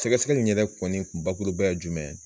Sɛgɛsɛgɛ in yɛrɛ kɔni kun bakuruba jumɛn ye?